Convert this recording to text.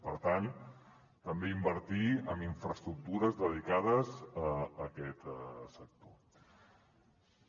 per tant també invertir en infraestructures dedicades a aquest sector